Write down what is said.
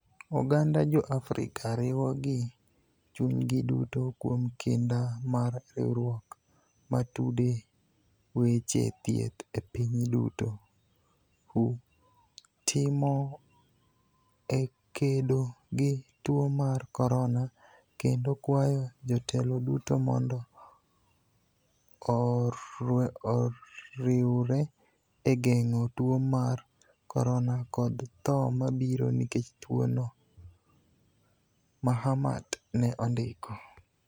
"Oganda jo Afrika riwo gi chunygi duto kuom kinda mar riwruok ma tude weche thieth e piny duto (WHO) timo e kedo gi tuo mar Korona kendo kwayo jotelo duto mondo orwre e geng'o tuo mar corona kod tho mabiro nikech tuoni" Mahamat ne ondiko